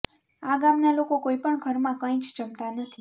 આ ગામના લોકો કોઇપણ ઘરમાં કઇ જ જમતા નથી